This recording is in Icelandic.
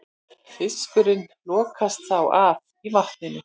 Fiskurinn lokast þá af í vatninu.